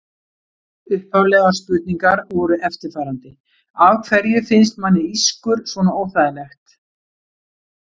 Upphaflegar spurningar voru eftirfarandi: Af hverju finnst manni ískur svona óþægilegt?